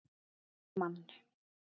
Bergmann